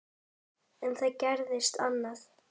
En það gerðist annað.